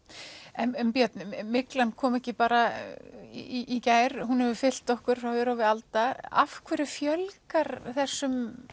en Björn myglan kom ekki bara í gær hún hefur fylgt okkur frá örófi alda af hverju fjölgar þessum